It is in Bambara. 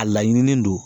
A laɲinilen don